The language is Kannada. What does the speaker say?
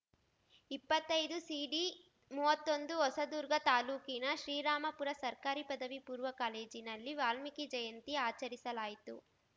ಇಪ್ಪತ್ತೈದುಸಿಡಿಮೂವತ್ತೊಂದು ಹೊಸದುರ್ಗ ತಾಲೂಕಿನ ಶ್ರೀರಾಂಪುರ ಸರ್ಕಾರಿ ಪದವಿ ಪೂರ್ವ ಕಾಲೇಜಿನಲ್ಲಿ ವಾಲ್ಮೀಕಿ ಜಯಂತಿ ಆಚರಿಸಲಾಯಿತು